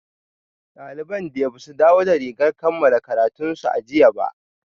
Daliban dai ba su dawo da rigar kammala karatunsu a jiya ba